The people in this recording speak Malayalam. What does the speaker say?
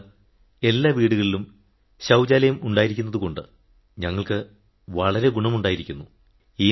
ഇപ്പോളിതാ എല്ലാ വീടുകളിലും ശൌചാലയം ഉണ്ടായിരിക്കുന്നതുകൊണ്ട് ഞങ്ങൾക്ക് വളരെ ഗുണമുണ്ടായിരിക്കുന്നു